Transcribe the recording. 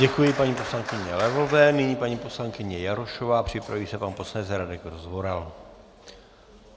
Děkuji paní poslankyni Levové, nyní paní poslankyně Jarošová, připraví se pan poslanec Radek Rozvoral.